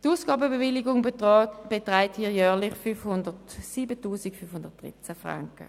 Die Ausgabenbewilligung beträgt jährlich 507 513 Franken.